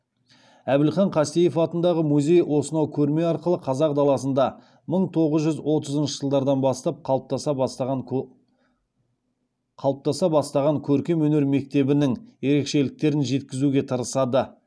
әбілхан қастеев атындағы музей осынау көрме арқылы қазақ даласында мың тоғыз жүз отызыншы жылдардан бастап қалыптаса бастаған көркемөнер мектебінің ерекшеліктерін жеткізуге тырысады